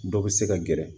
Dɔ bɛ se ka gɛrɛ